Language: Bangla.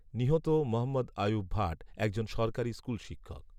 নিহত মহম্মদ আয়ুব ভাট এক জন সরকারি স্কুলশিক্ষক